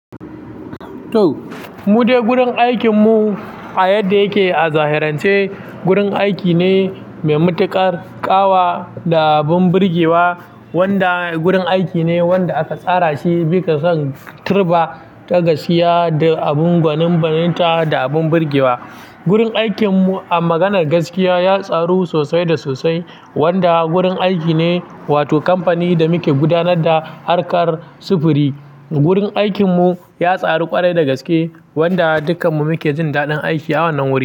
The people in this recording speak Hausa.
To, mudai gurin aikin mu a yadda yake a zahirance gurin aiki ne mai matuƙar ƙawa da abin birgewa wanda gurin aiki ne wanda aka tsara shi bikasan tirba ta gaskiya da abin gwanin banita da abin birgewa. Gurin aikin mu a maganar gaskiya ya tsaru sosai da sosai wanda gurin aiki ne wato kamfani da muke gudanar da harkar sufuri. Gurin aikin mu ya tsaru ƙwarai da gaske wanda dukkan mu muke jin daɗin aiki a wannan wuri.